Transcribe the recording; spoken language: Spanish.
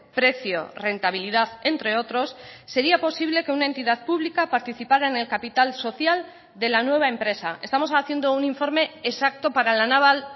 precio rentabilidad entre otros sería posible que una entidad pública participara en el capital social de la nueva empresa estamos haciendo un informe exacto para la naval